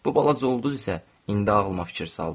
Bu balaca ulduz isə indi ağlıma fikir saldı.